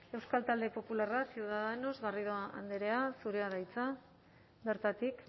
euskal talde popularra ciudadanos garrido andrea zurea da hitza bertatik